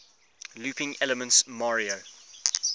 looping elements mario